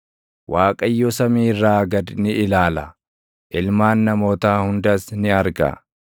Waaqayyo samii irraa gad ni ilaala; ilmaan namootaa hundas ni arga;